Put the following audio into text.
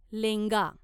लेंगा